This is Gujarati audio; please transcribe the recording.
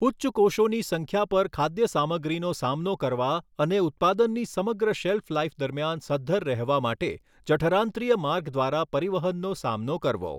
ઉચ્ચ કોષોની સંખ્યા પર ખાદ્ય સામગ્રીનો સામનો કરવા અને ઉત્પાદનની સમગ્ર શેલ્ફ લાઇફ દરમિયાન સધ્ધર રહેવા માટે જઠરાંત્રિય માર્ગ દ્વારા પરિવહનનો સામનો કરવો.